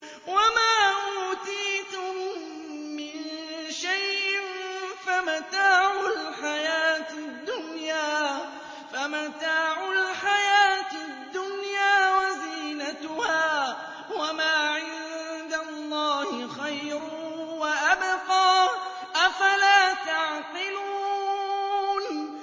وَمَا أُوتِيتُم مِّن شَيْءٍ فَمَتَاعُ الْحَيَاةِ الدُّنْيَا وَزِينَتُهَا ۚ وَمَا عِندَ اللَّهِ خَيْرٌ وَأَبْقَىٰ ۚ أَفَلَا تَعْقِلُونَ